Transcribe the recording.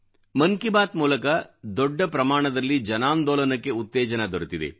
ಮನ್ ಕಿ ಬಾತ್ ಮೂಲಕ ದೊಡ್ಡ ಪ್ರಮಾಣದಲ್ಲಿ ಜನಾಂದೋಲನಕ್ಕೆ ಉತ್ತೇಜನ ದೊರೆತಿದೆ